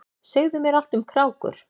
Segðu mér allt um krákur.